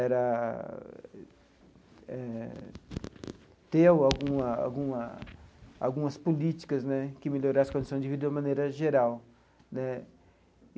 era eh ter alguma alguma algumas políticas né que melhorassem as condições de vida de uma maneira geral né.